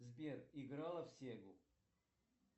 сбер играла в сегу